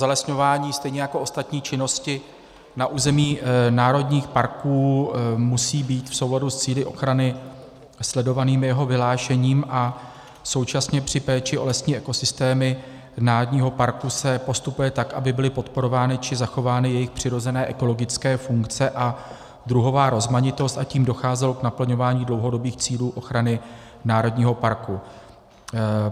Zalesňování stejně jako ostatní činnosti na území národních parků musí být v souladu s cíli ochrany sledovanými jeho vyhlášením a současně při péči o lesní ekosystémy národního parku se postupuje tak, aby byly podporovány či zachovány jejich přirozené ekologické funkce a druhová rozmanitost, a tím docházelo k naplňování dlouhodobých cílů ochrany národního parku.